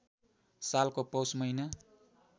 सालको पौष महिना